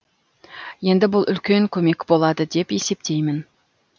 енді бұл үлкен көмек болады деп есептеймін